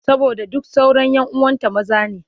Saboda duk sauran 'yan uwanta maza ne.